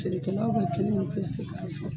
Feerekɛlaw ka kele ka pese k'a fɛ